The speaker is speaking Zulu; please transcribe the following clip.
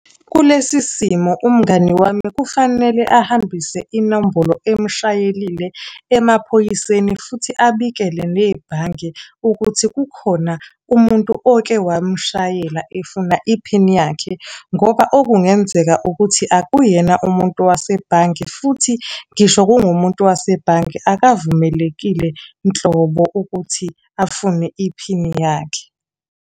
Kulesi simo umngani wami kufanele ahambise inombolo emshayelile emaphoyiseni futhi abikele nebhange ukuthi kukhona umuntu oke wamshayela efuna iphini yakhe, ngoba okungenzeka ukuthi akuyena umuntu wasebhange futhi ngisho kungumuntu wasebhange akavumelekile nhlobo ukuthi afune iphini yakhe.